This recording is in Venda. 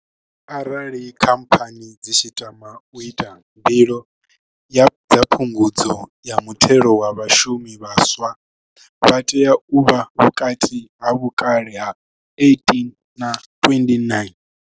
Arali khamphani dzi tshi tama u ita mbilo dza phungudzo ya muthelo wa vhashumi, vhaswa vha tea u vha vhukati ha vhukale ha 18 na 29.